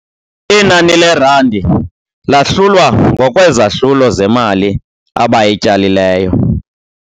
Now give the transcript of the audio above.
Inani leerandi lahlulwa ngokwezahlulo zemali abayityalileyo.